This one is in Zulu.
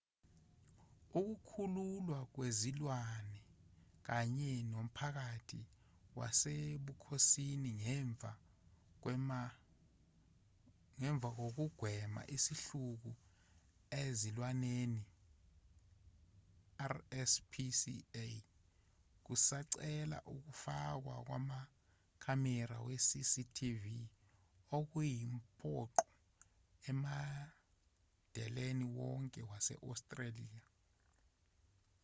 ukukhululwa kwezilwane kanye nomphakathi wasebukhosini wokugwema isihluku ezilwaneni rspca kusacela ukufakwa kwamakhamera we-cctv okuyimpoqo emadeleni wonke wase-australia